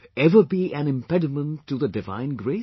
Ever be an impediment to the divine grace